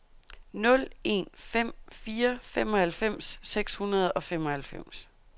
nul en fem fire femoghalvfems seks hundrede og femoghalvfems